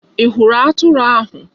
Ị hụrụ atụrụ ahụ?